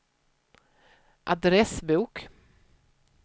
adressbok